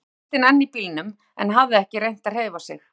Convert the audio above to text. Þá sat Kristinn enn í bílnum en hafði ekki reynt að hreyfa sig.